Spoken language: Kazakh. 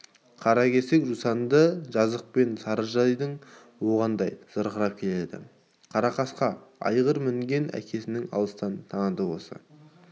қаракер жусанды жазықпен сарыжайдың оғындай зырқырап келеді қарақасқа айғыр мінген әкесін алыстан таныды осы